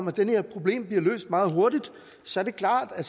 at det her problem bliver løst meget hurtigt så er det klart at